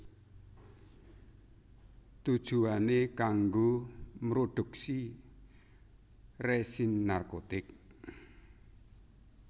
Tujuwané kanggo mrodhuksi résin narkotik